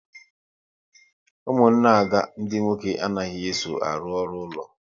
Ụmụnne Ada ndị nwoke anaghị eso arụ ọrụ ụlọ